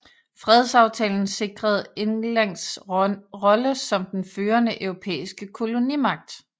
Fredsaftalen sikrede Englands rolle som den førende europæiske kolonimagt